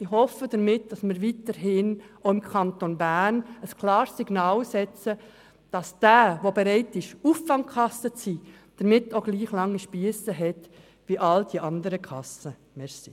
Ich hoffe damit, dass wir weiterhin auch im Kanton Bern ein klares Signal aussenden, sodass jene, die bereit sind, Auffangkasse zu sein, auch mit gleich langen Spiessen rechnen dürfen wie alle anderen Kassen.